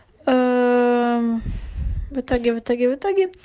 ы в итоге в итоге в итоге